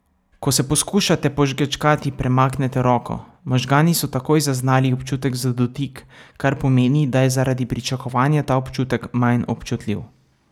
Ko se poskušate požgečkati premaknete roko, možgani so takoj zaznali občutek za dotik, kar pomeni, da je zaradi pričakovanja ta občutek manj občutljiv.